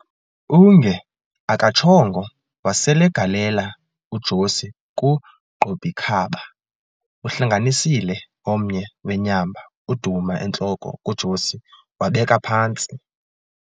Unge akatshongo waselegalela uJosi ku"Qob'ikhaba", uhlanganisile omnye wenyamba uduma entloko kuJosi wabeka phantsi.